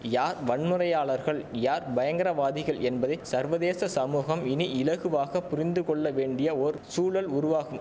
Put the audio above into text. யார் வன்முறையாளர்கள் யார் பயங்கரவாதிகள் என்பதை சர்வதேச சமூகம் இனி இலகுவாக புரிந்து கொள்ள வேண்டிய ஓர் சூழல் உருவாகும்